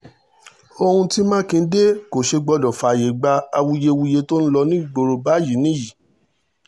ohun tí mákindé kọ ṣe gbọ́dọ̀ fààyè gba awuyewuye tó ń lọ nígboro báyìí nìyí nìyí